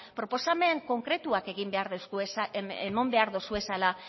proposamen konkretuak emon behar dozuezala